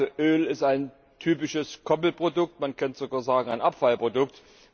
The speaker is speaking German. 40. Öl ist ein typisches Koppelprodukt man könnte sogar sagen, ein Abfallprodukt.